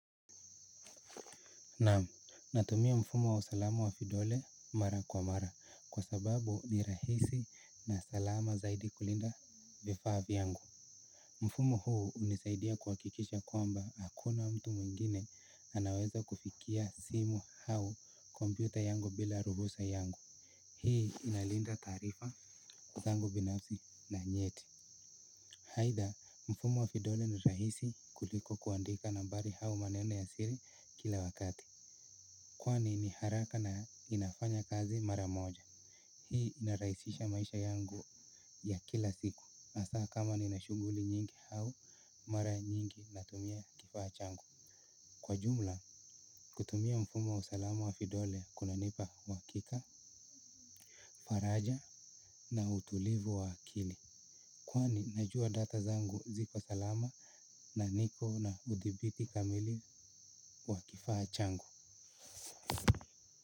Naam, natumia mfumo wa usalama wa kidole mara kwa mara kwa sababu ni rahisi na salama zaidi kulinda vifaa vyangu mfumo huu unisaidia kuhakikisha kwamba hakuna mtu mwingine anaweza kufikia simu hau kompyuta yangu bila ruhusa yangu hii inalinda taarifa zangu binafsi na nyeti. Haitha, mfumo wa kidole ni rahisi kuliko kuandika nambari hau maneno ya siri kila wakati kwani ni haraka na inafanya kazi mara moja hii inaraisisha maisha yangu ya kila siku asaa kama nina shughuli nyingi hao mara nyingi natumia kifaa changu kwa jumla kutumia mfumo wa usalama wa vidole kuna nipa huhakika faraja na utulivu wa akili kwani najua data zangu ziko salama na niko na udhibiti kamili wa kifaa changu.